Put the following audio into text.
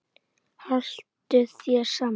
Haltu þér saman